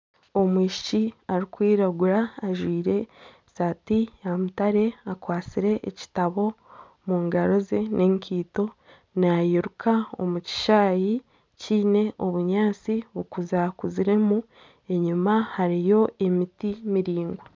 Omwishiki arikwiragura ajwaire esaati ya mutare akwatsire ekitabo omungaro ze n'ekaito nairuka omukishaayi kiine obunyaatsi obukuza kuziremu enyuma hariyo emiti miraingwa